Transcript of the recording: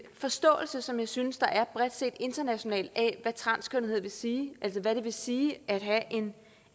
forståelse som jeg synes der bredt set internationalt er af hvad transkønnethed vil sige altså hvad det vil sige at have